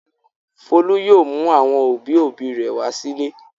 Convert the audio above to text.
Folú yóò mú àwọn òbí-òbí rẹ̀ wá sílé.